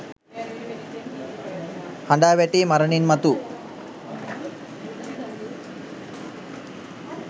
හඬා වැටී මරණින් මතු